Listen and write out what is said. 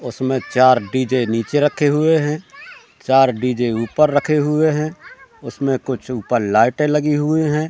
उसमें चार डी_जे नीचे रखे हुए हैं चार डी_जे ऊपर रखे हुए हैं उसमें कुछ ऊपर लाइटें लगी हुई हैं।